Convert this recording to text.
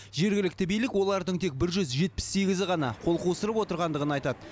жергілікті билік олардың тек бір жүз жетпіс сегізі ғана қол қусырып отырғандығын айтады